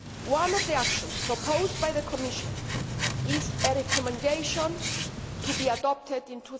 One of the actions proposed by the Commission is a Recommendation to be adopted in